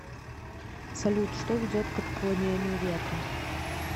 салют что ведет к отклонению ветра